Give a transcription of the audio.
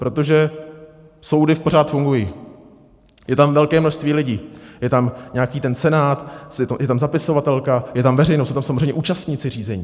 Protože soudy pořád fungují, je tam velké množství lidí, je tam nějaký ten senát, je tam zapisovatelka, je tam veřejnost, jsou tam samozřejmě účastníci řízení.